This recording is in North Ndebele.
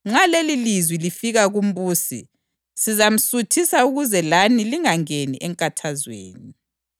Nxa lelilizwi lifika kumbusi, sizamsuthisa ukuze lani lingangeni enkathazweni.”